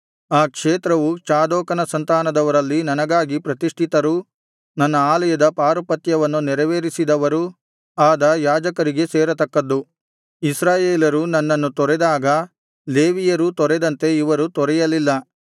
ಆ ಕ್ಷೇತ್ರವು ಚಾದೋಕನ ಸಂತಾನದವರಲ್ಲಿ ನನಗಾಗಿ ಪ್ರತಿಷ್ಠಿತರೂ ನನ್ನ ಆಲಯದ ಪಾರುಪತ್ಯವನ್ನು ನೆರವೇರಿಸಿದವರೂ ಆದ ಯಾಜಕರಿಗೇ ಸೇರತಕ್ಕದ್ದು ಇಸ್ರಾಯೇಲರು ನನ್ನನ್ನು ತೊರೆದಾಗ ಲೇವಿಯರೂ ತೊರೆದಂತೆ ಇವರು ತೊರೆಯಲಿಲ್ಲ